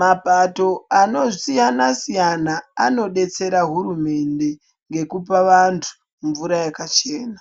mapato akasiyana-siyana, anodetsera hurumende, ngekupa vantu mvura yakachena.